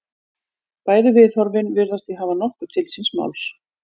Bæði viðhorfin virðast því hafa nokkuð til síns máls.